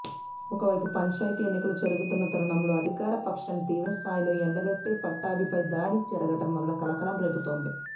ఒకవైపు పంచాయతీ ఎన్నికలు జరుగుతున్న తరుణంలో అధికార పక్షాన్నితీవ్ర స్థాయిలో ఎండగట్టే పట్టాభిపై దాడి జరగడం కలకలం రేపుతోంది